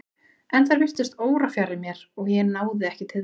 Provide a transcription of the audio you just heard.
En þær virtust órafjarri mér og ég náði ekki til þeirra.